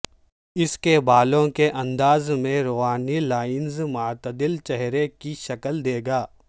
اس کے بالوں کے انداز میں روانی لائنز معتدل چہرے کی شکل دے گا